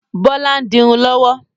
Bọlá ń dirun lọ́wọ́